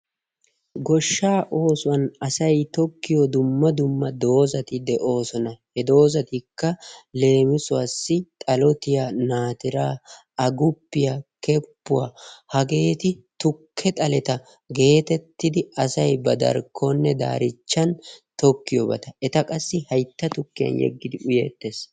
Goshshaa oosuwan asay tokkiyoo dumma dumma doozati doosona he doozatikka leemisuwaassi xalotiyaa naatiraa aguppiyaa keppuwaa hageeti tukke xaleta geetettidi asay ba darkkonne daarichchan tokkiyoobata eta qassi hayitta tukkiyan yeggidi uyeettes.